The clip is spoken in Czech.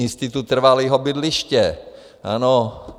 Institut trvalého bydliště, ano.